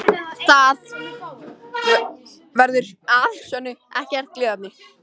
Það verður að sönnu ekkert gleðiefni